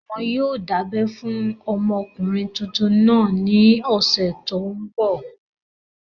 Wọn yóò dábẹ́ fún ọmọkùnrin tuntun náà ní ọ̀sẹ̀ tó n bọ̀